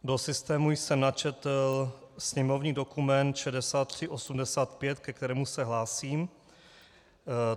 Do systému jsem načetl sněmovní dokument 6385, ke kterému se hlásím.